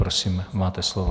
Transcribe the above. Prosím máte slovo.